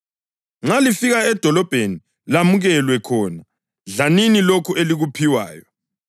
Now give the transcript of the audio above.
Nxa lifika edolobheni lamukelwe khona, dlanini lokho elikuphiwayo.